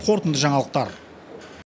қорытынды жаңалықтар